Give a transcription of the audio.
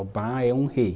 Obá é um rei.